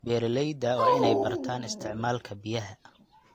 Beeralayda waa inay bartaan isticmaalka biyaha.